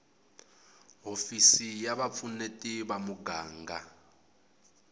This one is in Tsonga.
hofisi ya vupfuneti va muganga